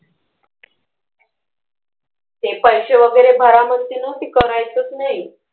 ते पैसे वगैरे भरा म्हणतील ना ते करायचंच नाही.